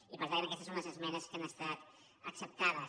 i per tant aquestes són les esmenes que han estat acceptades